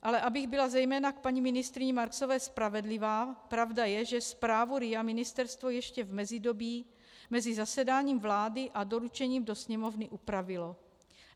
Ale abych byla zejména k paní ministryni Marksové spravedlivá, pravda je, že zprávu RIA ministerstvo ještě v mezidobí, mezi zasedáním vlády a doručením do Sněmovny, upravilo.